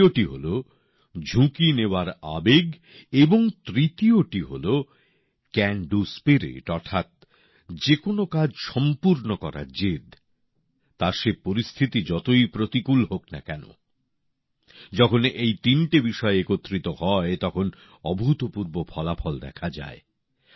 দ্বিতীয়টি হল ঝুঁকি নেওয়ার আবেগ এবং তৃতীয়টি হলো ক্যান ডু স্পিরিট অর্থাৎ যেকোনো কাজ সম্পূর্ণ করার জেদ তা সে পরিস্থিতি যতই প্রতিকূল হোক না কেন যখন এই তিনটি বিষয় একত্রিত হয় তখন অভূতপূর্ব ফলাফল দেখা যায়